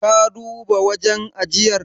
Ka duba wajen ajiyar?